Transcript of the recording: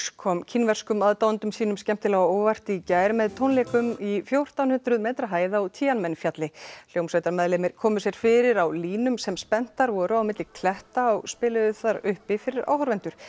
kom kínverskum aðdáendum sínum skemmtilega á óvart í gær með tónleikum í fjórtán hundruð metra hæð á men fjalli hljómsveitarmeðlimir komu sér fyrir á línum sem spenntar voru á milli kletta og spiluðu þar uppi fyrir áhorfendur